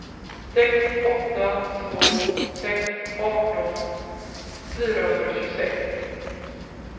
sex åtta två sex arton fyrahundratjugosex